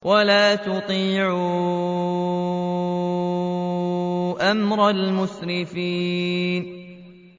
وَلَا تُطِيعُوا أَمْرَ الْمُسْرِفِينَ